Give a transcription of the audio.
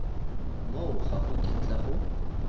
moo ga go kitla go